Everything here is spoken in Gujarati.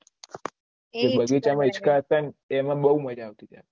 બગીચા ના હીચકા હતા એમાં બહુ મજા આતી હતી